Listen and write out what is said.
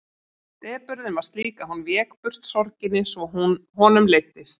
Depurðin var slík að hún vék burt sorginni svo honum leiddist.